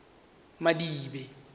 madibe